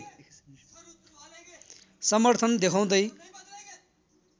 समर्थन देखाउँदै